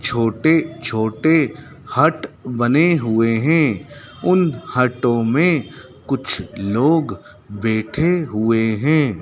छोटे-छोटे हट बने हुए हैं उन हटो में कुछ लोग बैठे हुए है।